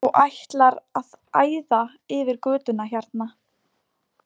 Og ætlar að æða yfir götuna hérna!